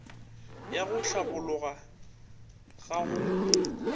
ya go hlabologa ga go